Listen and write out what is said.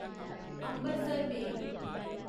Ambarsar मेल